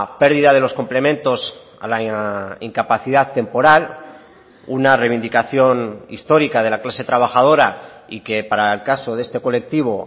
pérdida de los complementos a la incapacidad temporal una reivindicación histórica de la clase trabajadora y que para el caso de este colectivo